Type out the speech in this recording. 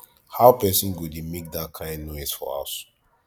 how person go dey make dat kin noise for house